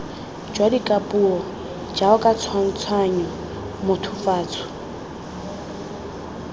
jwa dikapuo jaoka tshwantshanyo mothofatso